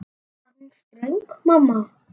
Var hún ströng mamma?